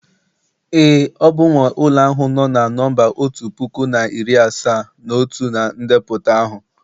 ee, ọ bụ m nwe ulo ahu no na nọmba otu puku na iri asaa na otu na ndepụta ahụ